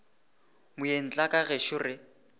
moeng tla ka gešo re